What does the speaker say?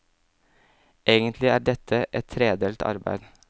Egentlig er dette et tredelt arbeid.